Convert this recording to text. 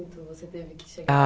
Você teve que chegar... Ah